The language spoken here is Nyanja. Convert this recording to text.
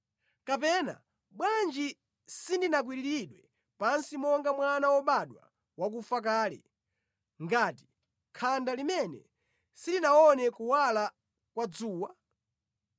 Kapena, bwanji sindinakwiriridwe pansi monga mwana wobadwa wakufa kale, ngati khanda limene silinaone kuwala kwa dzuwa?